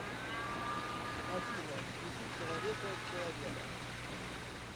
афина включи человека человеда